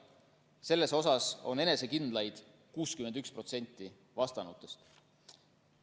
Selles on enesekindlad 61% vastanutest.